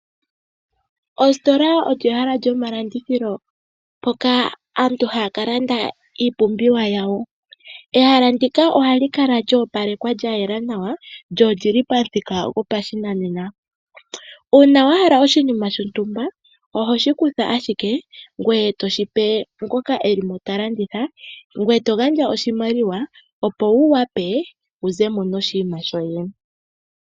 Ositola olyo ehala lyomalandithilo mpoka aantu haya kalanda iipumbiwa yawo. Ehala ndika ohali kala lya opalekwa lyayela nawa, lyo olyili pamuthika lyo pashinanena. Uuna wa hala oshinima shontumba oho shi kutha ashike ngoye to shipe ngoka elimo ta landitha. Ngoye to gandja oshimaliwa opo wu wape wu zemo noshinima shoye.